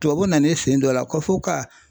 Tubabu nan'i sen dɔ a la ko fɔ ka